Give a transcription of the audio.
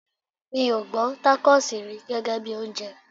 Mi ò gbọ́ Tákósì rí gẹ́gẹ́bí oúnjẹ.